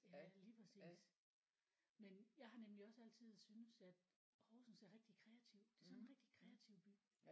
Ja lige præcis men jeg har nemlig også altid synes at Horsens er rigtig kreativ det er sådan en rigtig kreativ by